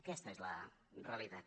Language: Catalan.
aquesta és la realitat